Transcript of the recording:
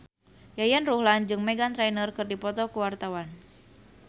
Yayan Ruhlan jeung Meghan Trainor keur dipoto ku wartawan